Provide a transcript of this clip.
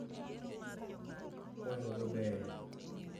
Kwayo go beyo.